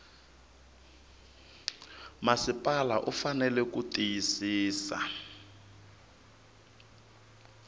masipala u fanele ku tiyisisa